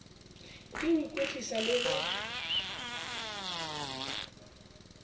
ke ho ikwetlisa le ho